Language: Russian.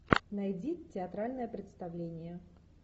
найди театральное представление